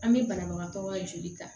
An bɛ banabagatɔ ka joli ta